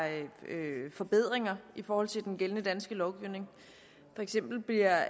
forbedringer i forhold til den gældende danske lovgivning for eksempel bliver